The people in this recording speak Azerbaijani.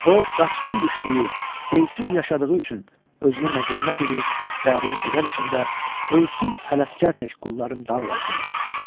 O qaçqın düşdüyü, elsiz yaşadığı üçün özünü məzəmmət edir, dərin kədər içində “Ölsün Ələsgər tək qulların dağlar” deyir.